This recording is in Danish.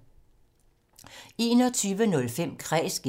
21:05: Kræs (G)